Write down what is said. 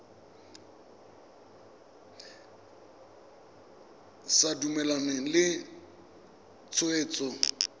o sa dumalane le tshwetso